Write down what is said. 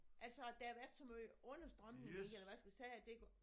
Altså der har været så meget understrømning i eller hvad skal vi sige at det går